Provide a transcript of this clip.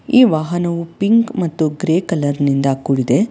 ಈ ವಾಹನವು ಪಿಂಕ್ ಮತ್ತು ಗ್ರೇ ಕಲರ್ ನಿಂದ ಕೂಡಿದೆ.